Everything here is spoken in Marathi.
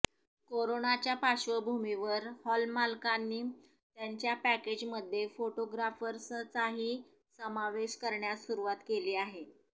करोनाच्या पार्श्वभूमीवर हॉलमालकांनी त्यांच्या पॅकेजमध्ये फोटोग्राफर्सचाही समावेश करण्यास सुरुवात केली आहे